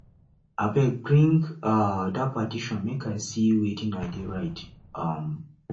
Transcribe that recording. abeg bring um dat petition make i see wetin de dey write um